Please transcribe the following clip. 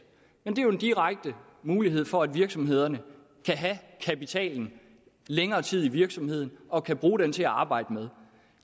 men det er jo en direkte mulighed for at virksomhederne kan have kapitalen længere tid i virksomheden og kan bruge den til at arbejde med